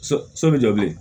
So so bɛ jɔ bilen